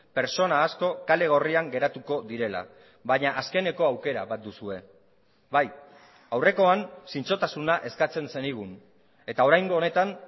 pertsona asko kale gorrian geratuko direla baina azkeneko aukera bat duzue bai aurrekoan zintzotasuna eskatzen zenigun eta oraingo honetan